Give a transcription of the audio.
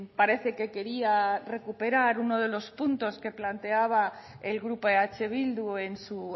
parece que quería recuperar uno de los puntos que planteaba el grupo eh bildu en su